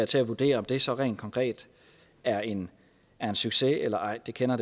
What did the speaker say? til at vurdere om det så rent konkret er en succes eller ej det kender